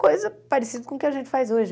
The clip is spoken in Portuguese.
Coisa parecida com o que a gente faz hoje.